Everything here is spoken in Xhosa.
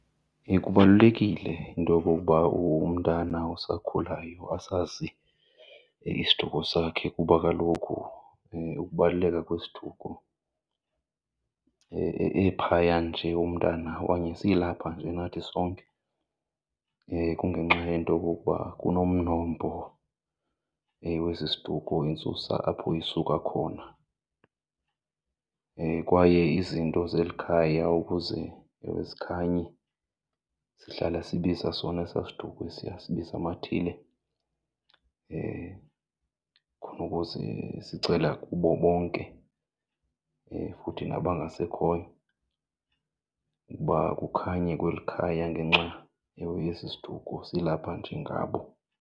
Kubalulekile into yokokuba umntana osakhulayo asazi isiduko sakhe kuba kaloku ukubaluleka kwesiduko ephaya nje umntana okanye silapha nje nathi sonke kungenxa yento yokokuba kunomnombo wesi siduko, intsusa apho isuka khona. Kwaye izinto zeli khaya ukuze zikhanye sihlala sibiza sona esaa siduko esiya, sibiza amathile khona ukuze sicela kubo bonke futhi nabangasekhoyo ukuba kukhanye kweli khaya ngenxa ewe yesi siduko, silapha nje ngabo.